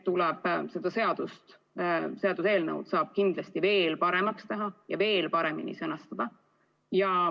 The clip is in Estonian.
Seda seaduseelnõu saab kindlasti veel paremaks teha ja veel paremini sõnastada.